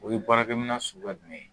O ye baarakɛminɛn suguya jumɛn ye